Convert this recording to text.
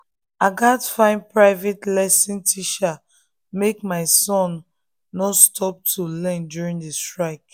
i gats find private lesson teacher make my son um no stop to learn during the strike